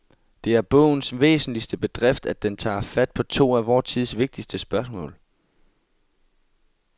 Det er bogens væsentligste bedrift, at den tager fat på to af vor tids vigtigste spørgsmål.